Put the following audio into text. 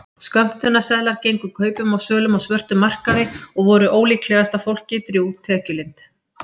Skömmtunarseðlar gengu kaupum og sölum á svörtum markaði og voru ólíklegasta fólki drjúg tekjulind.